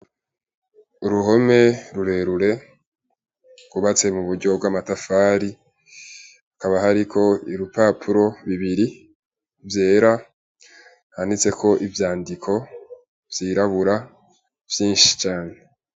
Uruhome rurerure rwubatse mu buryo bw'amatafari hakaba hariko ibipapuro bibiri vyera vyanditseko ivyandiko vyirabura vyishi cane.